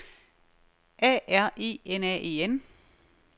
A R E N A E N